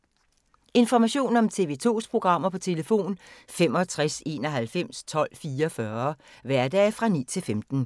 Information om TV 2's programmer: 65 91 12 44, hverdage 9-15.